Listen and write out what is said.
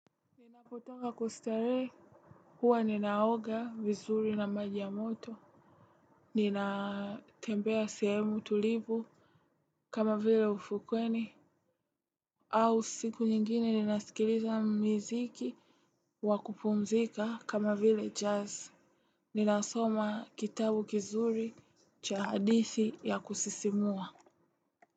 Ninapotoka kustarehe huwa ninaoga vizuri na maji moto. Ninatembea sehemu tulivu kama vile ufukweni. Au siku nyingine ninasikiliza miziki wa kupumzika kama vile jazz. Ninasoma kitabu kizuri cha hadithi ya kusisimua.